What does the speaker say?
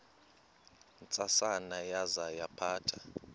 ntsasana yaza yaphatha